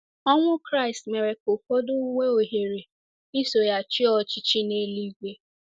Ọnwụ Kraịst mere ka ụfọdụ nwee ohere iso ya chịa ọchịchị n’eluigwe.